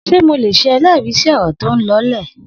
Se mólè sẹ ẹlẹri si ọrọ toún lọ lẹ?